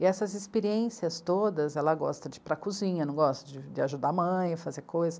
E essas experiências todas, ela gosta de ir para a cozinha, não gosta? De ajudar a mãe a fazer coisas.